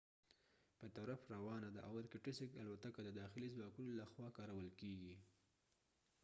الوتکه د irkutsk په طرف روانه ده او د داخلي ځواکونو له خوا کارول کیږي